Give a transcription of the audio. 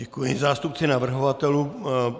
Děkuji zástupci navrhovatelů.